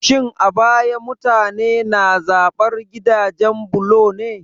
Shin a baya mutane na zaɓar gidajen bulo ne?